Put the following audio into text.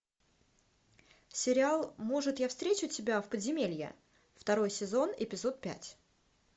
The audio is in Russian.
сериал может я встречу тебя в подземелье второй сезон эпизод пять